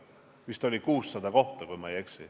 Vist oli 600 kohta, kui ma ei eksi.